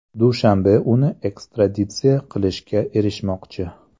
Dushanbe uni ekstraditsiya qilishga erishmoqchi.